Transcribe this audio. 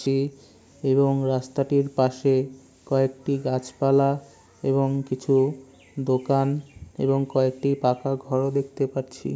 ছি এবং রাস্তাটির পাশে কয়েকটি গাছপালা এবং কিছু দোকান এবং কয়েকটি পাকা ঘর দেখতে পাচ্ছি।